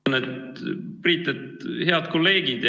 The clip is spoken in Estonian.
Me oleme, Priit, head kolleegid.